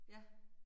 Ja